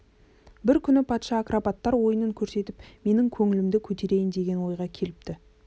бір күні патша акробаттар ойынын көрсетіп менің көңілімді көтерейін деген ойға келіпті